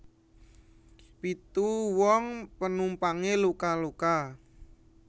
Pitu wong penumpange luka luka